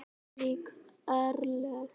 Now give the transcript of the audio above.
Ólík örlög.